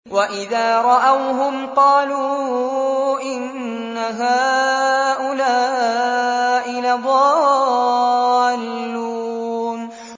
وَإِذَا رَأَوْهُمْ قَالُوا إِنَّ هَٰؤُلَاءِ لَضَالُّونَ